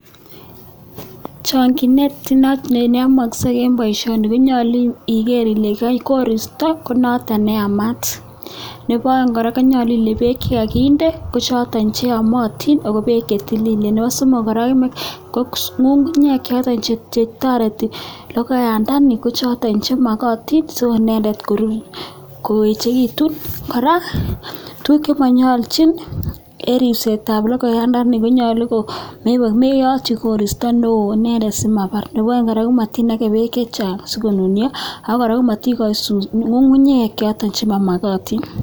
Choginet not neyamaksei eng boisioni konyolu igeer ile keikol eng koristo konoto neyamat. Nebo aeng kora konyolu ile beek chekakinde kochoto cheyamatin ako beek che tililen. Nebo somok kora, kometoks ngngunyek choto chetoreti logoiyandani kochoto chemakatin soko inendet korur, koechekitu. Kora, tuguk che manyolchin eng ripsetab logoiyandani konyolu komeyoti koristo neo inendet simabar, nebo aeng kora, komenakee beek chechang sikonunio ako kora kometikochi ngungunyek choto chemamakatin.